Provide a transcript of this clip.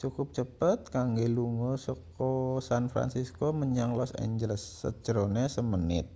cukup cepet kanggo lunga seka san fransisco menyang los angeles sajerone samenit